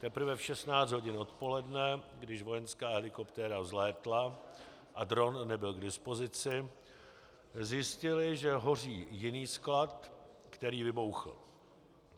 Teprve v 16 hodin odpoledne, když vojenská helikoptéra vzlétla a dron nebyl k dispozici, zjistili, že hoří jiný sklad, který vybuchl.